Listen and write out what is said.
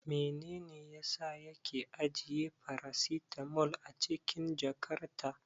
Menene yasa yake ajiye farasitamol a cikin jakarta?